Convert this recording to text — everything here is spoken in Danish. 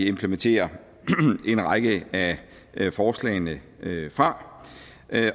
implementerer en række af forslagene fra